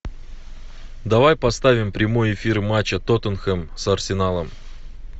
давай поставим прямой эфир матча тоттенхэм с арсеналом